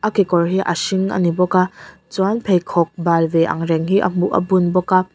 a kekawr hi a hring ani bawk a chuan pheikhawk bal ve angreng hi a hmu a bun bawk a.